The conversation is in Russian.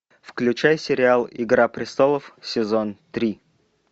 включай сериал игра престолов сезон три